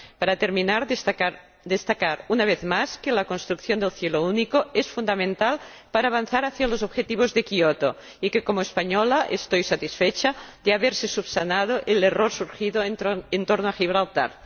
Para terminar, destacar, una vez más, que la construcción del cielo único es fundamental para avanzar hacia los objetivos de Kyoto y que, como española, estoy satisfecha de que se haya subsanado el error surgido en torno a Gibraltar.